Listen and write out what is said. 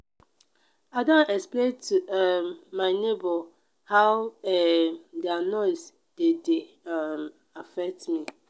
i don explain to um my nebor how um their noise dey dey um affect me.